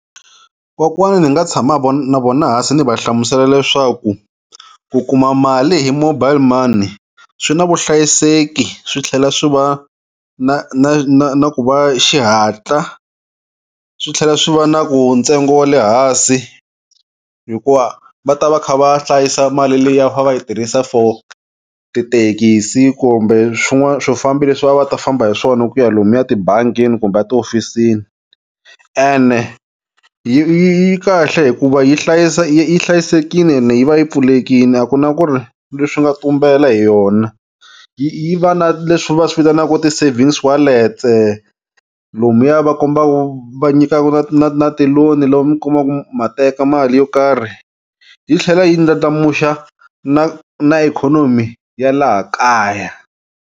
Kokwani ni nga tshama na vona hansi ni va hlamusela leswaku ku kuma mali hi mobile money swi na vuhlayiseki swi tlhela swi va na na na na ku va xihatla swi tlhela swi va na ku ntsengo wa le hansi hikuva va ta va kha va hlayisa mali liya va yi tirhisa for tithekisi kumbe swin'wana swifambi leswi a va ta famba hi swona ku ya lomuya tibangini kumbe a tihofisini ene yi yi kahle hikuva yi hlayisa yi hlayisekile yi va yi pfulekile a ku na ku ri leswi nga tumbela hi yona yi va na leswi va swi vitanaka ti-savings wallets-e lomuya va kombaka va nyika na na na ti-loan mi kuma ma teka mali yo karhi yi tlhela yi ndlandlamuxa na na ikhonomi ya laha kaya.